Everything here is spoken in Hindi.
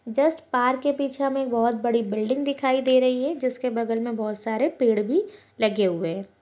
जस्ट पार्क के पीछे हमें बोहोत बड़ी बिल्डिंग दिखाई दे रही है जिसके बगल में बोहोत सारे पेड़ भी लगे हुए हैं।